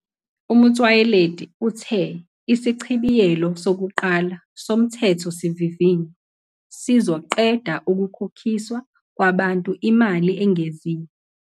UMotsoaledi uthe isichibiyelo sokuqala soMthethosivivinywa sizoqeda ukukhokiswa kwabantu imali engeziwe.